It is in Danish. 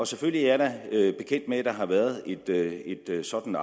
selvfølgelig er jeg da bekendt med at der har været et det er jo sådan